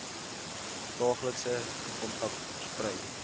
daaglikse kontak versprei